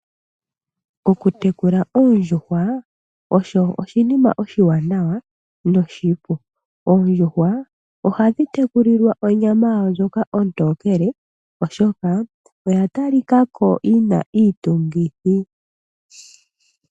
Okutekula oondjuhwa osho oshinima oshiwanawa noshipu. Oondjuhwa ohadhi tekulilwa onyama yawo ndjoka ontokele, oshoka oya talikako yina iitungithi.